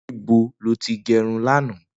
Nibó ló ti gẹrún làná?